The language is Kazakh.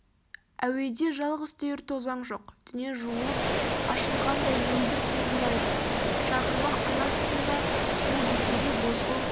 әуеде жалғыз түйір тозаң жоқ дүние жуылып ашылғандай мөлдір тұнжырайды шағырмақ күн астында сол бетеге бозғыл